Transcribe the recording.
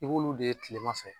I b'olu de ye tilema fɛ